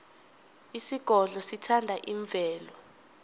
isigodlo sithanda imvelo